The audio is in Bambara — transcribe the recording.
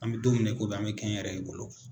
An mɛ don min na i ko bi an mɛ kɛnyɛrɛye bolo.